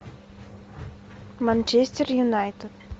манчестер юнайтед